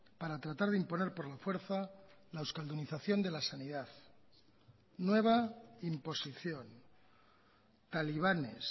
para tratar de imponer por la fuerza la euskaldunización de la sanidad nueva imposición talibanes